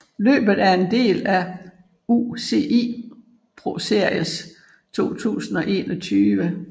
Løbet er en del af UCI ProSeries 2021